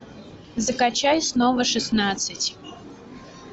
закачай снова шестнадцать